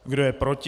Kdo je proti?